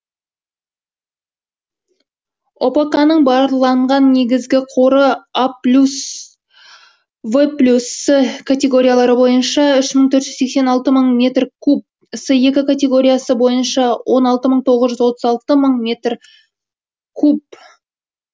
опоканың барланған негізгі қоры а плюс в плюс с категориялары бойынша үш мың төрт жүз сексен алты мың метр куб с екі категориясы бойынша он алты мың тоғыз жүз отыз алты мың метр куб